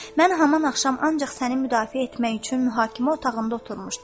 Mən haman axşam ancaq səni müdafiə etmək üçün mühakimə otağında oturmuşdum.